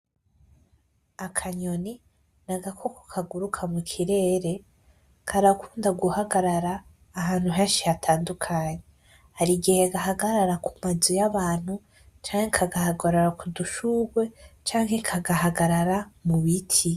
Akanyoni n'agakoko kaguruka mukirere, karakunda guhagarara ahantu henshi hatandukanye ,har'igihe gahagarara kumazi y'abantu ,canke kudushurwe ,canke kagahagarara mubiti.